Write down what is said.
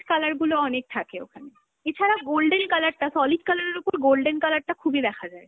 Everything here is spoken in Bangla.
colour গুলো অনেক থাকে ওখানে। এছারা golden colour টা, solid colour এর ওপর golden colour টা খুবই দেখা যায়।